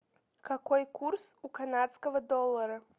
какой курс у канадского доллара